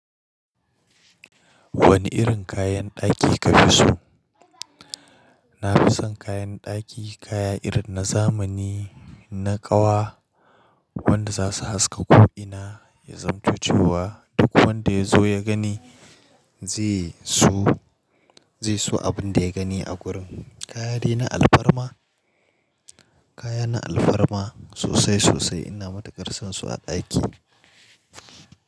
Wani irin kayan ɗaki ka fi so? Na fi son kayan ɗaki kaya irin na zamani na ƙawa wanda za su haska ko'ina, ya zamtocewa duk wanda ya zo ya gani zai so, zai so abin da ya gani a wurin. Kaya de na alfarma? Kaya na alfarma sosai sosai ina matukar son su a ɗaki.